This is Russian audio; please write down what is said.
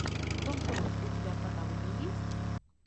том круз у тебя в каталоге есть